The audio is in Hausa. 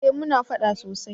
eh muna faɗa sosai